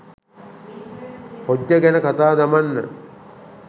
පොජ්ජ ගැන කතා දමන්න.